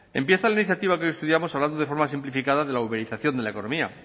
empieza la iniciativa que hoy estudiamos hablando de forma simplificada de la uberización de la economía